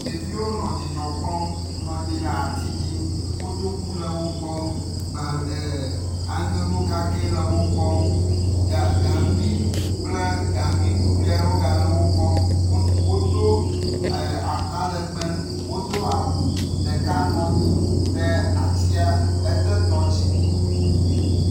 Ɖeviwo nɔ dzidzɔ kpɔm nɔ anyi ɖe ati dzi. Kotoku le wo gbɔ gba e aŋego kakɛ le wo gbɔ. Ga gaŋgui kple gangui kuklui aɖewo le wo gbɔ. Wodo e atalegbe, wodo awu ɖeka nɔ anyi ɖe atsia ete tɔ dzi.